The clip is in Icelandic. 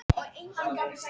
Stakkahlíð